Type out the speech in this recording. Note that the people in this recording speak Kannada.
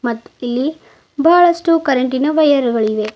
ಮತ್ತಿಲ್ಲಿ ಬಹಳಷ್ಟು ಕರೆಂಟಿನ ವೈರ್ ಗಳು ಇವೆ.